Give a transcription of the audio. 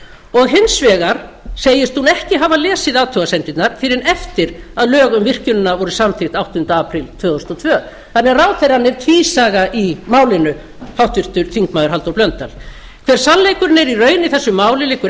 og hins vegar segist hún ekki hafa lesið athugasemdirnar fyrr en eftir að lög um virkjunina voru samþykkt áttunda apríl tvö þúsund og tvö þannig að ráðherrann er tvísaga í málinu háttvirtur þingmaður halldór blöndal hver sannleikurinn er í raun í þessu máli liggur